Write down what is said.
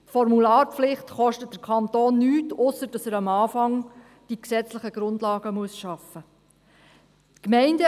Die Formularpflicht kostet den Kanton nichts, ausser dass er am Anfang die gesetzlichen Grundlagen schaffen muss.